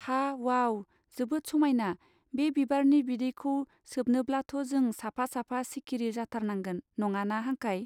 हा वाउ जोबोद समायना बे बिबारनि बिदैखौ सोबनोब्लाथ जों साफा साफा सिकिरि जाथारनांगोन! नङाना हांखाय.